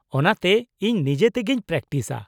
ᱼᱚᱱᱟᱛᱮ ᱤᱧ ᱱᱤᱡᱮᱛᱮᱜᱤᱧ ᱯᱨᱮᱠᱴᱤᱥᱼᱟ ᱾